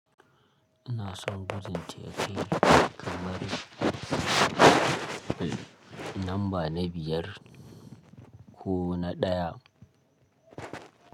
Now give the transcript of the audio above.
Ina son gujin teki kamar lamba na biyar ko na ɗaya.